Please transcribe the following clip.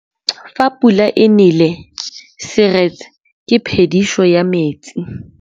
Fa pula e nelê serêtsê ke phêdisô ya metsi.